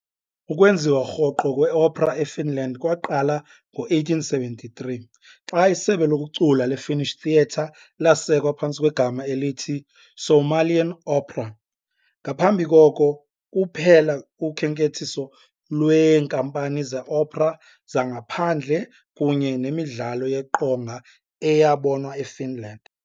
Ukwenziwa rhoqo kweopera eFinland kwaqala ngo-1873, xa isebe lokucula leFinnish Theatre lasekwa phantsi kwegama elithi "Suomalainen opera". Ngaphambi koko, kuphela ukhenkethiso lweenkampani zeopera zangaphandle kunye nemidlalo yeqonga eyabonwa eFinland.